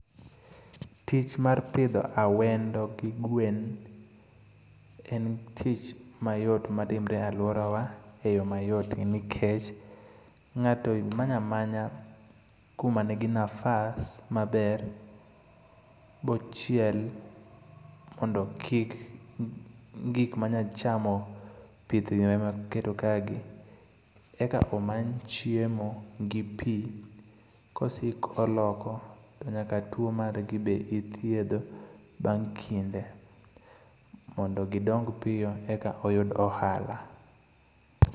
Tich mar pidho awendo gi gwen en tich mayot matimre e alworawa e yo mayot nikech ng'ato manyo amanya kuma negi nafasi maber, bochiel mondo kik gik manya chamo pithne moketo kagi, eka omany chiemo gi pi, kosik oloko, to nyaka tuwo margi be ithiedho, bang' kinde mondo gidong piyo eka oyud ohala.